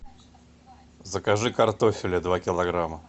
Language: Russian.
закажи картофеля два килограмма